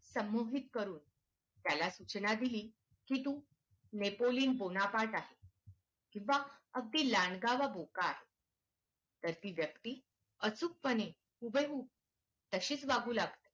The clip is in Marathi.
संमोहित करून त्याला सूचना दिली की तू नेपोलियन बोनापार्ट आहे किंवा अगदी लहानगावा बोका आहे तर ती व्यक्ती अचूकपणे हुबेहूब तसेच वागतेय.